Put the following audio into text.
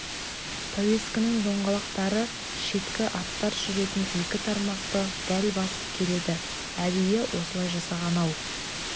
пәуескенің доңғалақтары шеткі аттар жүретін екі тармақты дәл басып келеді әдейі осылай жасаған-ау